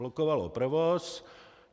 Blokovalo provoz.